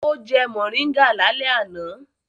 Ó jẹ mòríngà lálẹ́ àná.